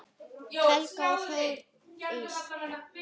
Helga Þóris.